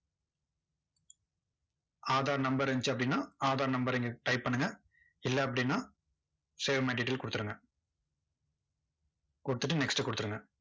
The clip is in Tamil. aadhar number இருந்துச்சு அப்படின்னா, aadhar number அ இங்க type பண்ணுங்க. இல்ல அப்படின்னா save my detail கொடுத்துருங்க கொடுத்துட்டு next கொடுத்துருங்க.